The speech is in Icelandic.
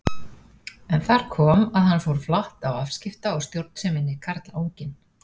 En þar kom að hann fór flatt á afskipta- og stjórnseminni, karlanginn.